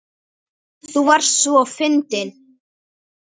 Amma þú varst svo fyndin.